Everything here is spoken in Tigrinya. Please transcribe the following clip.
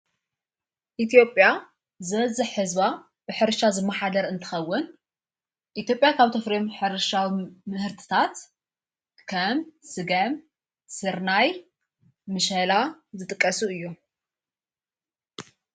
ኢቲዮጴያ ዝበዝሕ ሕዝባ ብኅርሻ ዝመኃደር እንትኸውን ኢቴጴያ ካብ ቶፍሬም ሕርሻዊ ምህርትታት ከም ሥገም ሥርናይ ምሸላ ዝጥቀሱ እዮ።